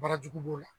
Barajugu b'o la